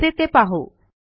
कसे ते पाहू